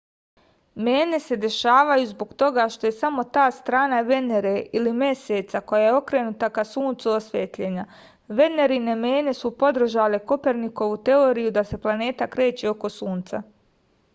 мене се дешавају због тога што је само та страна венере или месеца која је окренута ка сунцу осветљена. венерине мене су подржале коперникову теорију да се планете крећу око сунца